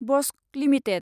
Bosco limited